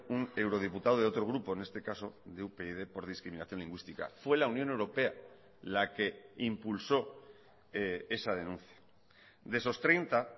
un eurodiputado de otro grupo en este caso de upyd por discriminación lingüística fue la unión europea la que impulsó esa denuncia de esos treinta